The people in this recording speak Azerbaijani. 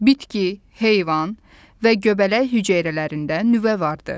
Bitki, heyvan və göbələk hüceyrələrində nüvə vardır.